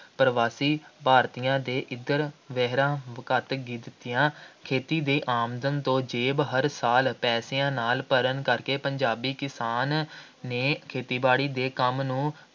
ਪ੍ਰਵਾਸੀ ਭਾਰਤੀਆਂ ਨੇ ਇੱਧਰ ਵਹੀਰਾਂ ਘੱਤ ਦਿੱਤੀਆਂ। ਖੇਤੀ ਦੀ ਆਮਦਨ ਤੋਂ ਜੇਬ ਹਰ ਸਾਲ ਪੈਸਿਆਂ ਨਾਲ ਭਰਨ ਕਰਕੇ ਪੰਜਾਬੀ ਕਿਸਾਨ ਨੇ ਖੇਤੀਬਾੜੀ ਦੇ ਕੰਮ ਨੂੰ